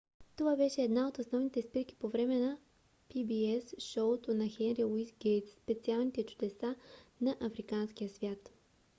това беше една от основните спирки по време на pbs шоуто на хенри луис гейтс специалните чудесата на африканския свят